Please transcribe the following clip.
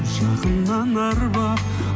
жақыннан арбап